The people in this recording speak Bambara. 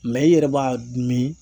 Mɛ i yɛrɛ b'a min